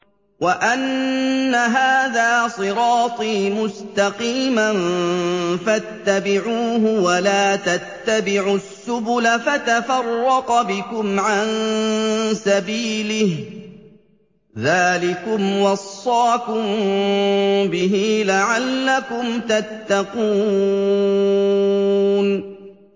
وَأَنَّ هَٰذَا صِرَاطِي مُسْتَقِيمًا فَاتَّبِعُوهُ ۖ وَلَا تَتَّبِعُوا السُّبُلَ فَتَفَرَّقَ بِكُمْ عَن سَبِيلِهِ ۚ ذَٰلِكُمْ وَصَّاكُم بِهِ لَعَلَّكُمْ تَتَّقُونَ